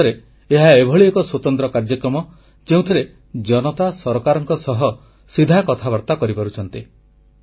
ମୋ ମତରେ ଏହା ଏଭଳି ଏକ ସ୍ୱତନ୍ତ୍ର କାର୍ଯ୍ୟକ୍ରମ ଯେଉଁଥିରେ ଜନତା ସରକାରଙ୍କ ସହ ସିଧା କଥାବାର୍ତ୍ତା କରିପାରୁଛନ୍ତି